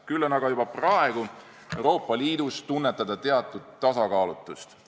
Küll aga on juba praegu Euroopa Liidus tunda teatud tasakaalutust.